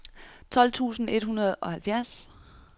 tolv tusind et hundrede og halvfjerds